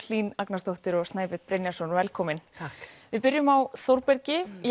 Hlín Agnarsdóttir og Snæbjörn Brynjarsson velkomin takk við byrjum á Þórbergi